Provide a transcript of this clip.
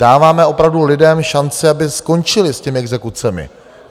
Dáváme opravdu lidem šanci, aby skončili s těmi exekucemi.